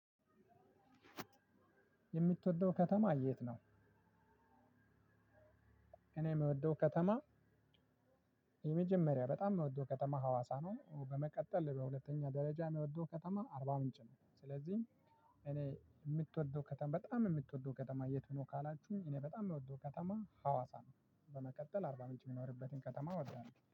የምትወደው ከተማ የት ነው? እኔ የምወደው ከተማ የመጀመሪያ በጣም የምወደው ከተማ ሀዋሳ ነው በመቀጠል በሁለተኛ ደረጃ የምወደው ከተማ አርባ ምንጭ ነው ስለዚህ እኔ የምትወደው ከተማ በጣም የምትወደው ከተማ የት ነው? ካላችሁ እኔ በጣም የምወደው ከተማ ሀዋሳ ነው በመቀጠል አርባ ምንጭ የምኖርበትን ከተማ እወዳለሁ